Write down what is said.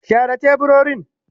Share teburorin.